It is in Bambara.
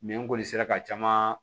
n kɔni sera ka caman